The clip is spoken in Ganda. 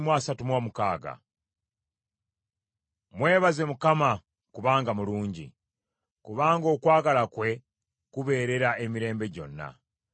Mwebaze Mukama kubanga mulungi, kubanga okwagala kwe kubeerera emirembe gyonna.